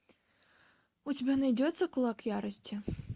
у тебя найдется кулак ярости